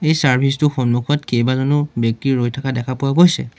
এই চাৰ্ভিচ টোৰ সন্মুখত কেইবাজনো ব্যক্তি ৰৈ থকা দেখা পোৱা গৈছে।